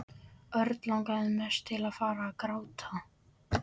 Örn langaði mest til að fara að gráta.